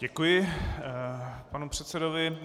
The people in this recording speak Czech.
Děkuji panu předsedovi.